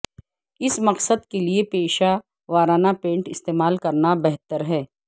اس مقصد کے لئے پیشہ ورانہ پینٹ استعمال کرنا بہتر ہے